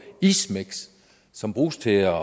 ismiks som bruges til at